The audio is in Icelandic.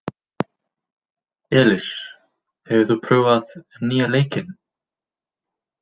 Elis, hefur þú prófað nýja leikinn?